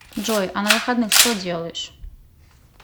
джой а на выходных что делаешь